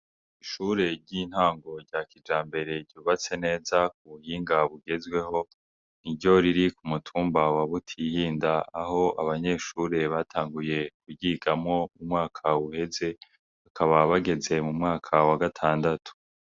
Ishure ryintango rya Kijambere ryubatswe neza mubuhinga bugezweho, ni ryo riri kumutumba wa Butihinda, Aho abanyeshure batanguye Kuryigamwo umwaka uheze, bakaba bageze mumwaka wa Gatandatu.